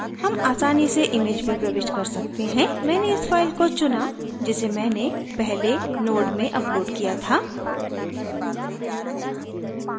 हम आसानी से इमैज भी प्रविष्ट कर सकते हैं मैंने इस file को चुना जिसे मैंने पहले node में uploaded किया था